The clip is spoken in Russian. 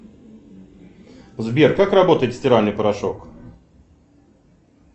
сбер как работает стиральный порошок